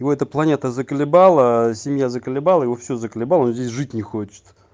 и эта планета заколебало а семья заколебало его все закалебало он здесь жить не хочет